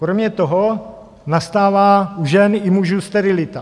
Kromě toho nastává u žen i mužů sterilita.